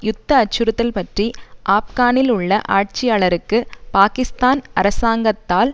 யுத்த அச்சுறுத்தல் பற்றி ஆப்கானில் உள்ள ஆட்சியாளருக்கு பாக்கிஸ்தான் அரசாங்கத்தால்